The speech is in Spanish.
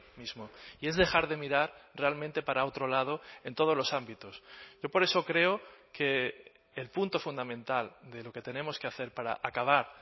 mismo y es dejar de mirar realmente para otro lado en todos los ámbitos yo por eso creo que el punto fundamental de lo que tenemos que hacer para acabar